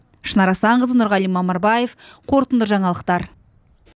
шынар асанқызы нұрғали мамырбаев қорытынды жаңалықтар